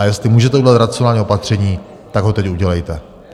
A jestli můžete udělat racionální opatření, tak ho teď udělejte.